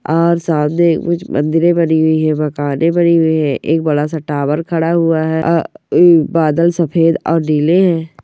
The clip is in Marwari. आर सादे कुछ मन्दिरे बनी हुई है मकाने बनी हुई है एक बड़ा सा टावर खड़ा हुआ है आ उ बदल सफ़ेद और नीले है।